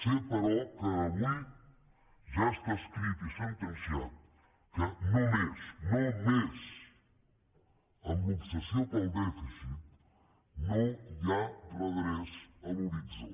sé però que avui ja està escrit i sentenciat que només només amb l’obsessió pel dèficit no hi ha redreç a l’horitzó